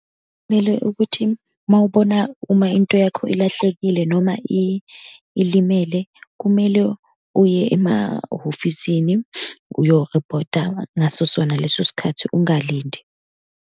Kumele ukuthi uma ubona uma into yakho ilahlekile, noma ilimele, kumele uye emahhofisini uyo riphotha ngaso sona leso sikhathi, ungalindi.